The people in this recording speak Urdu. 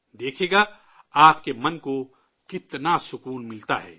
دیکھئے گا، آپ کے من کو کتنا سکون ملتا ہے